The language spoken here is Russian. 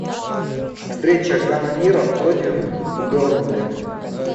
встреча канониров против бернли